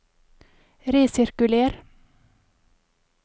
resirkuler